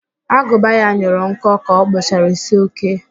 Agụba ya nyụrụ nkọ ka ọ kpụchara ísí Okee